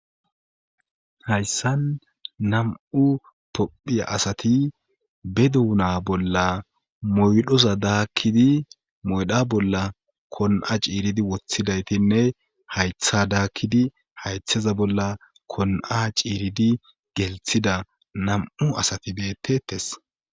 hayssan nam7u tophiya asati be duuna bolla moydhoza daakkidi moydha bolla kon7a ciiridi woththidaytinne haytha daakkidi haytheza bolla kon7a ciiridi gelthida nam7u asati beettetes